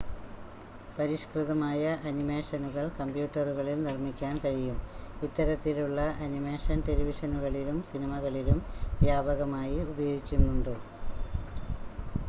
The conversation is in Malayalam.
പരിഷ്കൃതമായ അനിമേഷനുകൾ കമ്പ്യൂട്ടറുകളിൽ നിർ മ്മിക്കാൻ കഴിയും ഇത്തരത്തിലുള്ള അനിമേഷൻ ടെലിവിഷനുകളിലും സിനിമകളിലും വ്യാപകമായി ഉപയോഗിക്കുന്നുണ്ട്